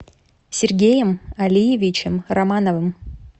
сергеем алиевичем романовым